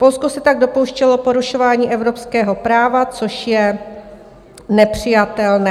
Polsko se tak dopouštělo porušování evropského práva, což je nepřijatelné.